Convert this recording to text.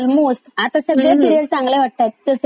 जस कि ती सातव्या मुलीची सातवी मुलगी आहे.